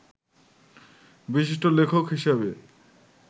বিশিষ্ট লেখক হিসেবে